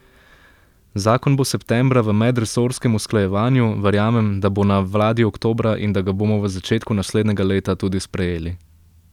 Zakon bo septembra v medresorskem usklajevanju, verjamem, da bo na vladi oktobra in da ga bomo v začetku naslednjega leta tudi sprejeli.